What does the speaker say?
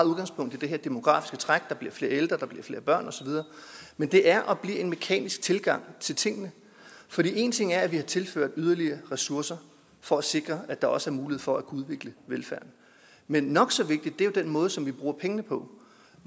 udgangspunkt i det her demografiske træk der bliver flere ældre der bliver flere børn osv men det er og bliver en mekanisk tilgang til tingene for en ting er at vi har tilført yderligere ressourcer for at sikre at der også er mulighed for at kunne udvikle velfærden men nok så vigtig er den måde som vi bruger pengene på